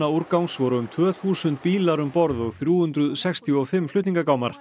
eiturefnaúrgangs voru um tvö þúsund bílar um borð og þrjú hundruð sextíu og fimm